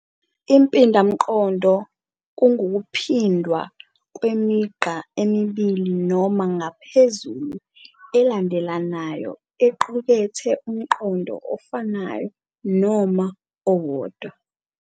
Impindamqondo ngukuphindwa kwemigqa emibili noma ngaphezulu elandelanayo equkethe umqondo ofanayo noma owodwa.